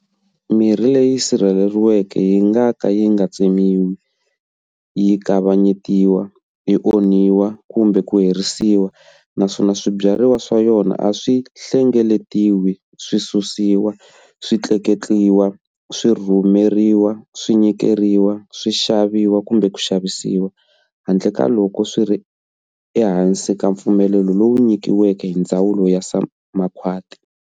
Mirhi leyi sirheleriweke yi nga ka yi nga tsemiwi, yi kavanyetiwa, yi onhiwa kumbe ku herisiwa, naswona swibyariwa swa yona acswi hlengeletiwi, swi susiwa, swi tleketliwa, swi rhumeriwa, swi nyikeriwa, swi xaviwa kumbe swi xavisiwa, handle ka loko swi ri ehansi ka mpfumelelo lowu nyikiweke hi Ndzawulo ya Makhwati.